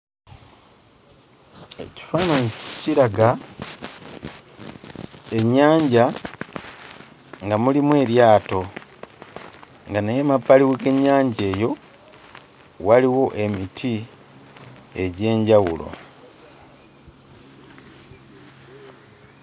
Ekifaananyi kiraga ennyanja nga mulimu eryato nga naye emabbali g'ennyanja eyo waliwo emiti egy'enjawulo.